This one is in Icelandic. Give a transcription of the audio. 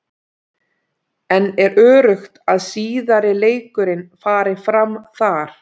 En er öruggt að síðari leikurinn fari fram þar?